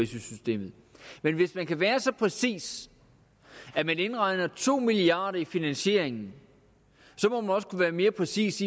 systemet men hvis man kan være så præcis at man indregner to milliard kroner i finansieringen må man også kunne være mere præcis